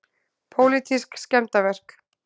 Pólitísk skemmdarverk